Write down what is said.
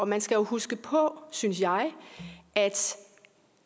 man skal jo huske på synes jeg at